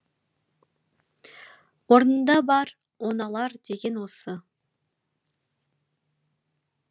орнында бар оңалар деген осы